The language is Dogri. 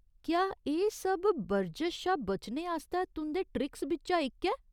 क्या एह्‌‌ सब बरजश शा बचने आस्तै तुंʼदे ट्रिक्स बिच्चा इक ऐ ?